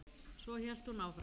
Svo hélt hún áfram